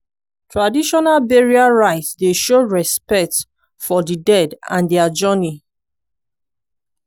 traditional burial rite dey show respect for di dead and their journey.